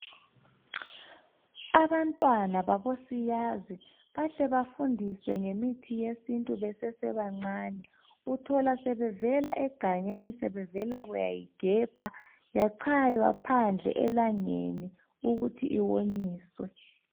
Abantwana babosiyazi bahle bafundiswe ngemithi yesintu besesebancane. Uthola sebevela egangeni sebevela kuyayigebha, yachaywa phandle elangeni ukuthi iwonyiswe.